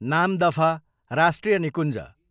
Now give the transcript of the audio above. नामदफा राष्ट्रिय निकुञ्ज